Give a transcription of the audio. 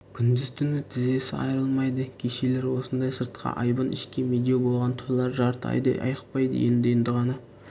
күндіз-түні тізесі айрылмайды кешелер осындай сыртқа айбын ішке медеу болған тойлар жарты айдай айықпады енді-енді ғана